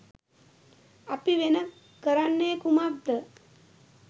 අපි වෙන කරන්නේ කුමක්ද?